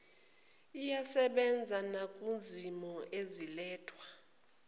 iyasebenza nakwizimo ezilethwa